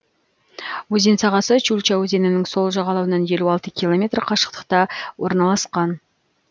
өзен сағасы чульча өзенінің сол жағалауынан елу алты километр қашықтықта орналасқан